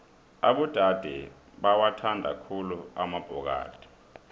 abodade bawathanda khulu amabhokadi